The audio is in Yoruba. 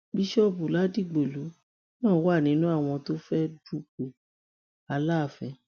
bíṣọọbù ládìgbòlù náà wà nínú àwọn tó fẹẹ dupò aláàfin